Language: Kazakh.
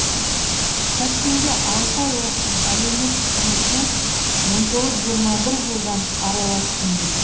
тәшкенде алты ай оқыдым әлеумет қызметіне он тоғыз жиырма жылдан араластым дейді